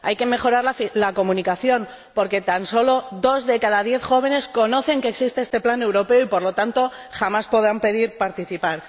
Hay que mejorar la comunicación, porque tan solo dos de cada diez jóvenes saben que existe este plan europeo y, por lo tanto, el resto jamás podrá pedir participar.